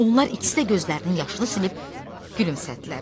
Onlar ikisi də gözlərinin yaşını silib gülümsədilər.